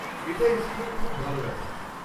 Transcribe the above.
এটা এই স্কুলের খুব ভাল ব্যাপার।